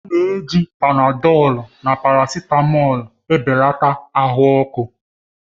A na-eji Panadọlu na parasitamọlu belata ahụ ọkụ.